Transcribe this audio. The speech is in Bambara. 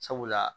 Sabula